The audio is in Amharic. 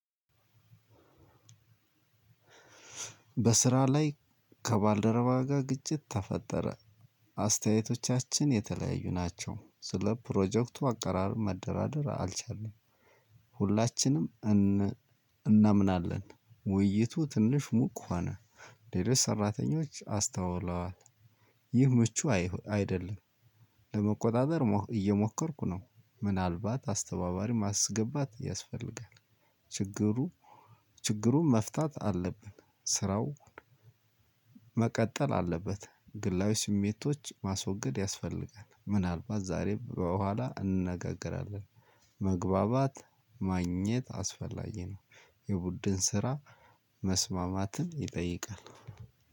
በስራ ላይ ከባልደረባ ጋር ግጭት ተፈጠረ አስተያየቶቻችን የተለያዩ ናቸው ስለ ፕሮጀክቱ አቀራረብ መደራደር አልቻልንም። ሁላችንም እናምናለን ውይይቱ ትንሽ ሙቅ ሆነ። ሌሎች ሰራተኞች አስተውለዋል። ይህ ምቹ አይደለም። ለመቆጣጠር እየሞከርኩ ነው ምናልባት አስተባባሪ ማስገባት ያስፈልጋል። ችግሩ ችግሩን መፍታት አለብን። ስራውን መቀጠል አለበት። ግላዊ ስሜቶች ማስወገድ ያስፈልጋል ምናልባት ዛሬም በኋላ እንነጋገራለን። መግባባት ማግኘት አስፈላጊ ነው። የቡድን ስራ መስማማትን ይጠይቃል።